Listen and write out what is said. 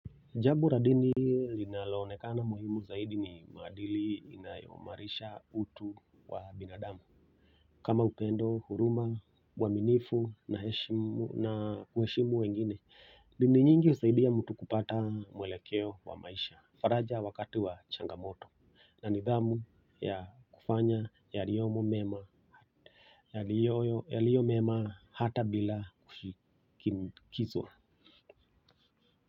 Jambo la dini linaloonekana muhimu zaidi ni maadili inayoimarisha utu wa binadamu kama upendo huruma, uaminifu na kuheshimu wengine, dini nyingi husaidia mtu kupata mwelekeo wa maisha faraja wakati wa changamoto na nidhamu ya kufanya yaliyomo mema yaliyo mema hata bila kishinikizwa.